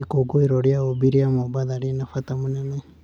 Ikũngũĩro ria ũũmbi rĩa Mombasa rĩna bata mũnene.